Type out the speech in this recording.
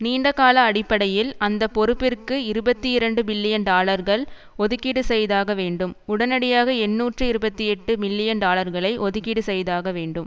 நீண்டகால அடிப்படையில் அந்தப்பொறுப்பிற்கு இருபத்தி இரண்டு பில்லியன் டாலர்கள் ஒதுக்கீடு செய்தாக வேண்டும் உடனடியாக எண்ணூற்று இருபத்தி எட்டு மில்லியன் டாலர்களை ஒதுக்கீடு செய்தாக வேண்டும்